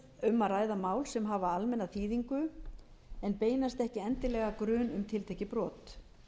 um að ræða mál sem hafa almenna þýðingu en beinast ekki endilega að grun um tiltekið brot